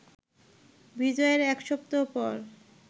বিজয়ের এক সপ্তাহ পর